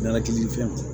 N'ala kelinifɛnw na